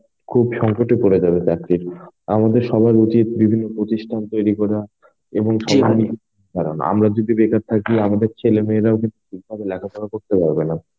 খুব সংকট এ পরে যাবে চাকরির আমাদের সবার উচিত বিভিন্ন প্রতিষ্ঠান তৈরি করা. এবং আমরা যদি বেকার থাকি আমাদের ছেলেমেয়েরাও কিন্তু ঠিকভাবে লেখা পড়া করতে পারবে না.